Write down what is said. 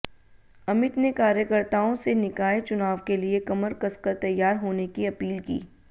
अमित ने कार्यकर्ताओं से निकाय चुनाव के लिए कमर कसकर तैयार होने की अपील की